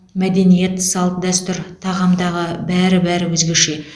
мәдениет салт дәстүр тағамдағы бәрі бәрі өзгеше